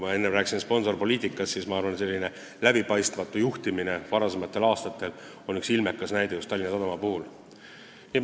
Ja mis puutub sponsorpoliitikasse, siis ma arvan, et läbipaistmatu juhtimise ilmekas näide ongi Tallinna Sadamas toimunu.